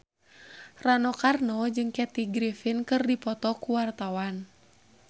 Rano Karno jeung Kathy Griffin keur dipoto ku wartawan